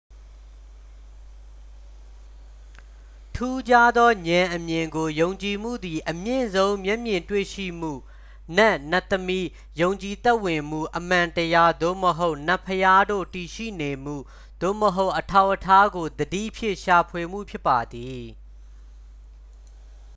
ထူးခြားသောဉာဏ်အမြင်ကို ယုံကြည်မှုသည် အမြင့်ဆုံး မျက်မြင်တွေ့ရှိမှု နတ် နတ်သမီး ယုံကြည်သက်ဝင်မှု အမှန်တရား သို့မဟုတ် နတ်ဘုရားတို့ တည်ရှိနေမှု သို့မဟုတ် အထောက်အထားကို သတိဖြင့် ရှာဖွေမှု ဖြစ်ပါသည်